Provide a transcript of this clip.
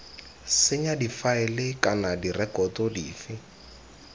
senya difaele kana direkoto dife